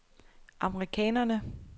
amerikanerne